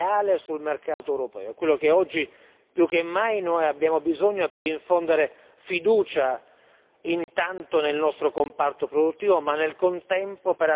È quello di cui oggi noi più che mai abbiamo bisogno per infondere fiducia intanto nel nostro comparto produttivo, ma nel contempo per attrarre nuovi investimenti.